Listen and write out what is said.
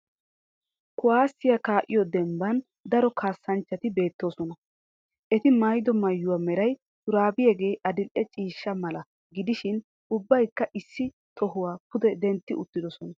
Kuwaasiya kaa'iyo dembban daro kaassanchchati beettoosona. Eti mayido mayuwa meray shuraabiyagee adil"e ciishshay mala gidishin ubbayikka issi tohuwa pude dentti uttidosona.